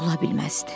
Ola bilməzdi.